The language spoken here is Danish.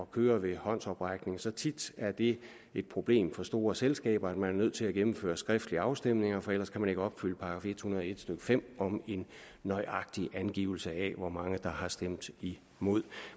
køre ved håndsoprækning så tit er det et problem for store selskaber at man er nødt til at gennemføre skriftlige afstemninger for ellers kan man ikke opfylde § en hundrede og en stykke fem om en nøjagtig angivelse af hvor mange der har stemt imod